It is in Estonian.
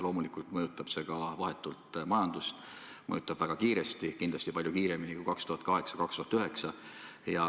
Loomulikult mõjutab see vahetult ka majandust, mõjutab väga kiiresti, kindlasti palju kiiremini kui 2008–2009.